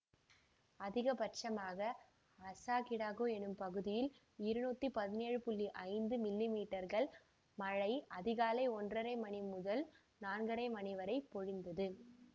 அதிக பட்சமாக அசாகிடாகு எனும் பகுதியில் இருநூற்றி பதினேழு ஐந்து மில்லிமீற்றர்கள் மழை அதிகாலை ஒன்றரை மணி முதல் நான்கரை மணி வரை பொழிந்தது